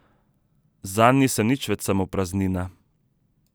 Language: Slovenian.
Zanj nisem nič več samo praznina.